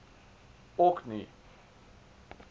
orkney